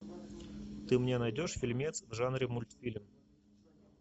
ты мне найдешь фильмец в жанре мультфильм